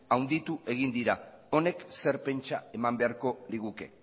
handitu egin dira honek zer pentsa eman beharko liguke